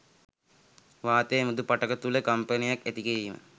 වාතය මෘදු පටක තුළ කම්පනයක් ඇතිකිරීම